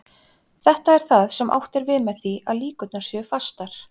Þetta er það sem átt er við með því að líkurnar séu fastar.